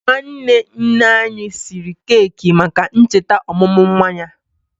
Nwanne nne anyị siri keki maka ncheta ọmụmụ nwa ya.